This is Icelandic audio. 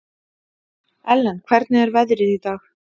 Ellen, hvernig er veðrið í dag?